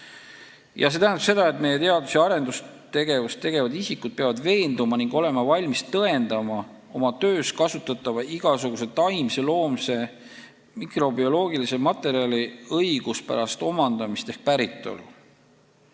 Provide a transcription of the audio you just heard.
Ja see tähendab seda, et meie teadus- ja arendustegevusega seotud isikud peavad olema valmis tõendama oma töös kasutatava igasuguse taimse, loomse ja mikrobioloogilise materjali õiguspärast omandamist ehk päritolu.